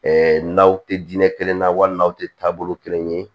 n'aw tɛ diinɛ kelen na wali n'aw tɛ taabolo kelen ye